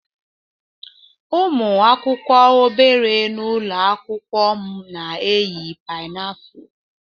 Ụmụ akwụkwọ obere nọ n'ụlọ akwụkwọ m na-eyi pinafore